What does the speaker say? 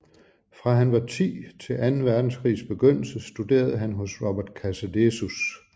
Fra han var ti til anden verdenskrigs begyndelse studerede han hos Robert Casadesus